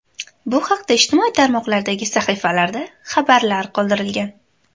Bu haqda ijtimoiy tarmoqlardagi sahifalarda xabarlar qoldirilgan .